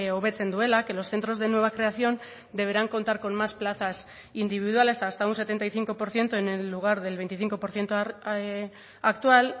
hobetzen duela que los centros de nueva creación deberán contar con más plazas individuales hasta un setenta y cinco por ciento en el lugar del veinticinco por ciento actual